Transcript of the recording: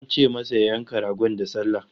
An ce masa ya yanka ragon da sallah